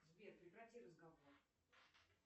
сбер прекрати разговор